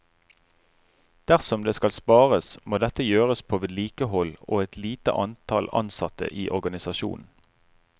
Dersom det skal spares, må dette gjøres på vedlikehold og et lite antall ansatte i organisasjonen.